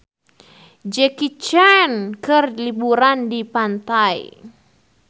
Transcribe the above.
Jackie Chan keur liburan di pantai